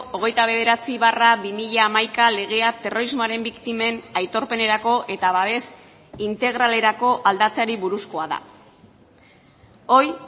hogeita bederatzi barra bi mila hamaika legea terrorismoaren biktimen aitorpenerako eta babes integralerakoa aldatzeari buruzkoa da hoy